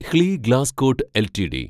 ഹ്ലി Glascott LTD